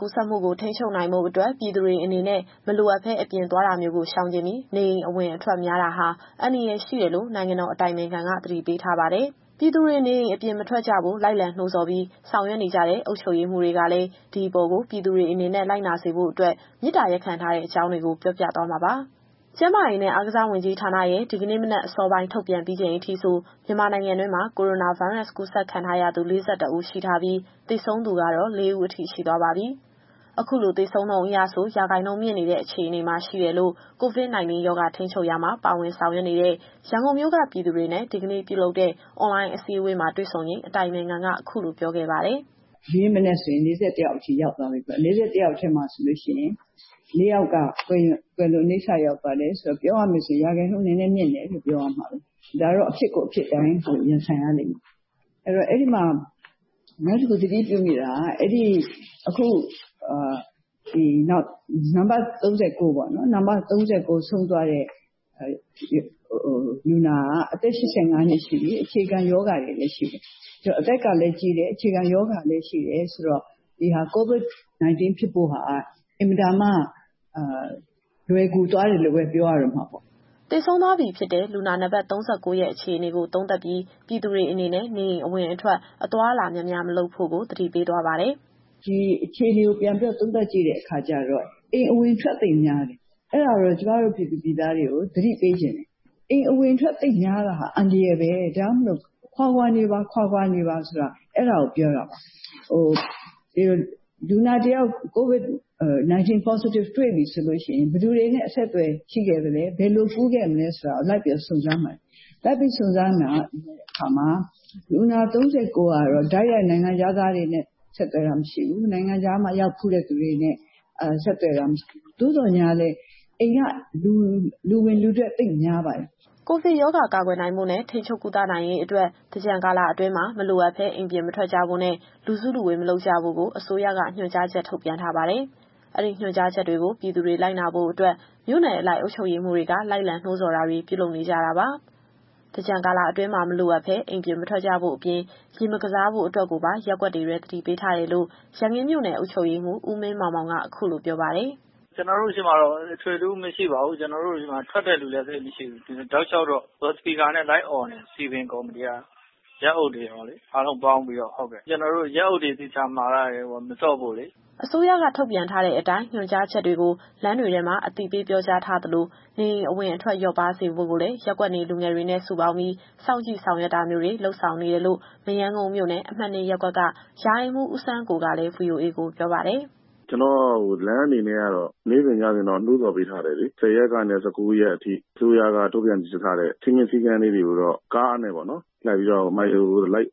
ကူးစက်မှုကို ထိန်းချုပ်နိုင်ဖို့အတွက် ပြည်သူတွေအနေနဲ့ မလိုအပ်ဘဲအပြင်သွားတာမျိုးကို ရှောင်ကြဉ်ပြီး နေအိမ်အဝင်အထွက်များတာဟာ အန္တရာယ်ရှိတယ်လို့ နိုင်ငံတော်အတိုင်ပင်ခံက သတိပေးထားပါတယ်။ ပြည်သူတွေနေအိမ်အပြင် မထွက်ကြဖို့ လိုက်လံနှိုးဆော်ပြီး ဆောင်ရွက်နေကြတဲ့ အုပ်ချုပ်ရေးမှူးတွေကလည်း ဒီအပေါ်ကို ပြည်သူတွေအနေနဲ့ လိုက်နာစေဖို့အတွက် မေတ္တာရပ်ခံထားပါတယ်။ အပြည့်အစုံကို ဗွီအိုအေမြန်မာပိုင်း သတင်းထောက်စုစုကပြောပြသွားမှာပါ။ ကျန်းမာရေးနဲ့ အားကစားဝန်ကြီးဌာနရဲ့ ဒီကနေ့မနက်အစောပိုင်း ထုတ်ပြန်ပြီးချိန်အထိဆို မြန်မာနိုင်ငံတွင်းမှာ ကိုရိုနာဗိုင်းရပ်စ်ကူးစက်ခံထားရသူ ၄၁ ဦးရှိထားပြီး သေဆုံးသူကတော့ ၄ ဦးအထိ ရှိသွားပါပြီ။ အခုလိုသေဆုံးနှုန်းအရဆို ရာခိုင်နှုန်းမြင့်တဲ့ အခြေအနေမှာ ရှိနေတယ်လို့ COVID- 19 ရောဂါထိန်းချုပ်ရာမှာ ပါဝင်ဆောင်ရွက်နေတဲ့ ရန်ကုန်မြို့က ပြည်သူတွေနဲ့ ဒီကနေ့ပြုလုပ်တဲ့ အွန်လိုင်းအစည်းအဝေးမှာတွေ့ဆုံချိန် အတိုင်ပင်ခံက အခုလိုပြောခဲ့ပါတယ်။ “ဒီနေ့မနက်ဆိုရင် ၄၁ ယောက်အထိ ရောက်သွားပြီပေါ့။ ၄၁ ယောက်ထဲမှာ ၄ ယောက်က ကွယ်လွန်အနိစ္စရောက်သွားတယ်ဆိုတော့ ပြောရမယ်ဆိုရင် ရာခိုင်နှုန်း နည်းနည်းမြင့်တယ်လို့ ပြောရမှာပဲ။ ဒါကတော့ အဖြစ်ကိုအဖြစ်အတိုင်း ရင်ဆိုင်ရလိမ့်မယ်။ အဲတော့ အဲဒီမှာ နောက်တခု သတိပြုမိတာက နံပါတ် ၃၉ ဆုံးသွားတဲ့ လူနာက အသက် ၈၅နှစ်ရှိပြီ။ အခြေခံရောဂါတွေလည်း ရှိတယ်။ အဲတော့ အသက်ကလည်းကြီးတယ်၊ အခြေခံရောဂါတွေလည်း ရှိတယ်ဆိုတော့ COVID-19 ဖြစ်ဖို့ဟာက အင်မတန်မှ လွယ်ကူသွားတယ်လို့ပဲ ပြောရတော့မှာပေါ့။” သေဆုံးသွားပြီဖြစ်တဲ့ လူနာနံပါတ် ၃၉ ရဲ့ အခြေအနေကို သုံးသပ်ပြီး ပြည်သူတွေအနေနဲ့ နေအိမ်အဝင်အထွက် အသွားအလာများများ မလုပ်ဖို့ကို သတိပေးသွားပါတယ်။ “ဒီအခြေအနေကို ပြန်ပြီးတော့ သုံးသပ်ကြည့်တဲ့အခါကျတော့ အိမ်အဝင်အထွက်သိပ်များတယ်။ အဲဒါတော့ ကျမတို့ပြည်သူပြည်သားတွေကို သတိပေးချင်တယ်။ အိမ်အဝင်အထွက်သိပ်များတာဟာ အန္တရာယ်ပဲ။ ဒါကြောင့်မို့ ခွာခွာနေပါ ခွာခွာနေပါဆိုတာ အဲဒါကိုပြောတာပါ။ လူနာတယောက် COVID-19 Positive တွေ့ပြီဆိုရင် ဘယ်သူတွေနဲ့ အဆက်အသွယ်ရှိခဲ့သလဲ။ ဘယ်လိုကူးခဲ့သလဲဆိုတာကို လိုက်ပြီးတော့ စုံစမ်းတဲ့အခါမှာ လူနာ ၃၉ ကတော့ တိုက်ရိုက်နိုင်ငံခြားသားတွေနဲ့ ဆက်သွယ်တာမရှိဘူး။ နိုင်ငံခြားရောက်ဖူးတဲ့သူတွေနဲ့ ဆက်သွယ်တာ မရှိဘူး။ သို့သော်ငြားလည်း အိမ်က လူဝင်လူထွက် သိပ်များပါတယ်။” ကိုဗစ်ရောဂါကာကွယ်နိုင်ဖို့နဲ့ ထိန်းချုပ်ကုသနိုင်ရေးအတွက် သင်္ကြန်ကာလအတွင်းမှာ မလိုအပ်ဘဲ အိမ်ပြင်မထွက်ကြဖို့နဲ့ လူစုလူဝေး မလုပ်ကြဖို့ကို အစိုးရက ညွှန်ကြားချက်ထုတ်ပြန်ထားပါတယ်။ အဲဒီညွှန်ကြားချက်တွေကို ပြည်သူတွေလိုက်နာဖို့အတွက် မြို့နယ်အလိုက် အုပ်ချုပ်ရေးမှူးတွေက လိုက်လံနှိုးဆော်တာတွေ ပြုလုပ်နေကြတာပါ။ သင်္ကြန်ကာလအတွင်းမှာ မလိုအပ်ဘဲ အိမ်ပြင်မထွက်ကြဖို့အပြင် ရေမကစားဖို့အတွက်ကိုပါ ရပ်ကွက်တွေထဲ အသိပေးထားတယ်လို့ ရန်ကင်းမြို့နယ်အုပ်ချုပ်ရေးမှူး ဦးမင်းမောင်မောင်က အခုလိုပြောပါတယ်။ “ကျနော်တို့ဆီမှာတော့ အထွေအထူးမရှိပါဘူး။ ကျနော်တို့ဆီမှာ ထွက်တဲ့လူလည်း သိပ်မရှိဘူး။ တောက်လျှောက်တော့ လော်စပီကာနဲ့ လိုက်အော်နေတယ် စည်ပင်ကော်မတီက။ ရပ်အုပ်တွေရောလေ အားလုံးပေါင်းပြီးတော့။ ကျနော်တို့ ရပ်အုပ်တွေ သေချာမှာထားတယ် သင်္ကြန်တွင်း ရေမဆော့ဖို့အတွက်။” အစိုးရက ထုတ်ပြန်ထားတဲ့အတိုင်း ညွှန်ကြားချက်တွေကို လမ်းတွေထဲမှာ အသိပေးပြောကြားထားသလို နေအိမ်အဝင်အထွက် လျော့ပါးစေဖို့ကိုလည်း ရပ်ကွက်နေလူငယ်တွေနဲ့ စုပေါင်းပြီး စောင့်ကြည့်ဆောင်ရွက်တာမျိုးတွေ လုပ်ဆောင်နေတယ်လို့ မရမ်းကုန်းမြို့နယ်၊ အမှတ် ၂ ရပ်ကွက်က ရာအိမ်မှူးဦးစန်းကိုကလည်း ဗွီအိုအေကိုပြောပါတယ်။ “ကျနော်တို့လမ်းအနေနဲ့ကတော့ နေ့စဉ်ညစဉ် နှိုးဆော်ပေးထားတယ်လေ။ ၁၀ ရက်ကနေ ၁၉ ရက်နေ့အထိ အစိုးရကထုတ်ပြန်ထားတဲ့ စည်းမျဉ်း၊ စည်းကမ်းတွေကို ကားနဲ့လိုက်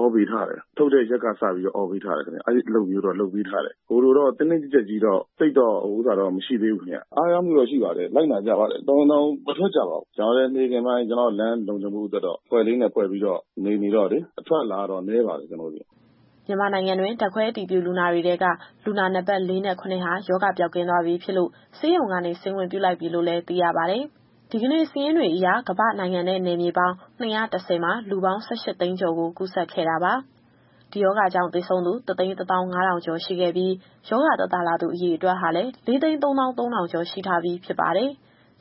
အော်ပေးထားတယ်။ ထုတ်ပြန်တဲ့ရက်ကစပြီးတော့ ဆော်သြပေးထားတယ်ခင်ဗျ။ အဲလိုတော့ လုပ်ပေးထားတယ်။ သိပ်ပြီးတင်းကျပ်ထားတာတော့ မရှိသေးဘူးခင်ဗျ။ အားရမှုတော့ရှိပါတယ်။ လိုက်နာကြပါတယ်။ တော်ရုံတန်ရုံမထွက်ကြပါဘူး။ ကျတော်လည်း နေ့ခင်းပိုင်း လမ်းလုံခြုံမှုအတွက်တော့ အဖွဲ့လေးတွေဖွဲ့ပြီးတော့ စောင့်ကြည့်နေတော့လေ အထွက်အလာတော့ နည်းပါတယ်ခင်ဗျ။” မြန်မာနိုင်ငံတွင်း ဓာတ်ခွဲအတည်ပြုလူနာတွေထဲက လူနာနံပါတ် ၄ နဲ့ ၇ ဟာ ရောဂါပျောက်ကင်းသွားပြီဖြစ်လို့ ဆေးရုံကနေ ဆင်းခွင့်ပြုလိုက်ပြီလို့လည်း သိရပါတယ်။ ဒီကနေ့စာရင်းတွေအရ ကမ္ဘာ့နိုင်ငံနဲ့နယ်မြေပေါင်း ၂၁၀ မှာ လူပေါင်း ၁၈ သိန်းကျော်ကို ကူးစက်ခဲ့တာပါ။ ဒီရောဂါကြောင့် သေဆုံးသူ ၁၁၅,၀၀၀ ကျော်ရှိခဲ့ပြီး ရောဂါသက်သာလာသူ အရေအတွက်ဟာလည်း ၄၃၃,၀၀၀ ကျော် ရှိထားပြီဖြစ်ပါတယ်။